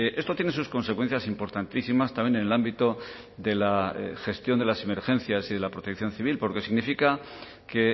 esto tiene sus consecuencias importantísimas también en el ámbito de la gestión de las emergencias y de la protección civil porque significa que